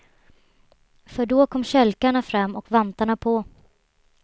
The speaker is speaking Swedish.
För då kom kälkarna fram och vantarna på.